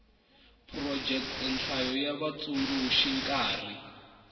phurojeke nhlayo ya vatsundzuxi nkarhi